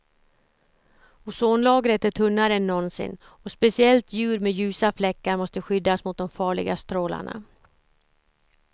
Ozonlagret är tunnare än någonsin och speciellt djur med ljusa fläckar måste skyddas mot de farliga strålarna.